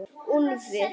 Úlfar